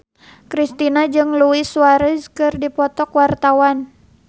Kristina jeung Luis Suarez keur dipoto ku wartawan